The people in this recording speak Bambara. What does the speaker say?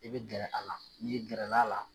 I bi gɛrɛ a la, n'i gɛrɛla a la